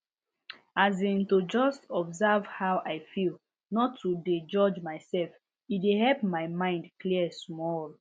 as in to just observe how i feel no to dey judge myself e dey help my mind clear small